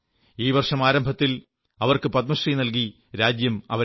ഈ വർഷം ആരംഭത്തിൽ അവർക്ക് പത്മശ്രീ നല്കുകയുണ്ടായി